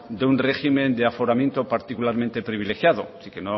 de un régimen de aforamiento particularmente privilegiado que